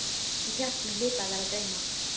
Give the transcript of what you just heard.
Ég hélt mig hlyti að vera að dreyma.